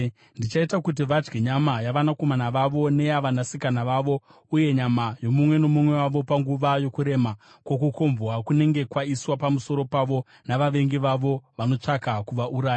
Ndichaita kuti vadye nyama yavanakomana vavo neyavanasikana vavo, uye nyama yomumwe nomumwe wavo panguva yokurema kwokukombwa kunenge kwaiswa pamusoro pavo navavengi vavo vanotsvaka kuvauraya.’